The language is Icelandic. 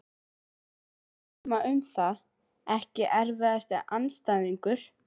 Erfitt að dæma um það Ekki erfiðasti andstæðingur?